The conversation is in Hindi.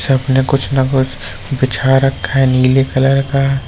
कुछ ना कुछ बिछा रखा है नीले कलर का।